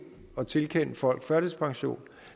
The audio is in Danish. at tilkende folk førtidspension